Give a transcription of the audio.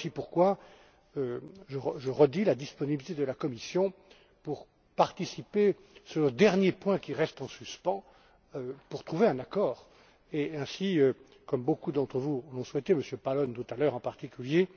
voilà aussi pourquoi je redis la disponibilité de la Commission pour participer, sur le dernier point qui reste en suspens, à la recherche d'un accord et, ainsi, comme beaucoup d'entre vous l'ont souhaité M. Pallone, tout à l'heure, en particulier